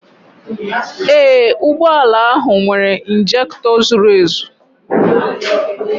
Ee, ụgbọ ala ahụ nwere ịnjektọ zuru ezu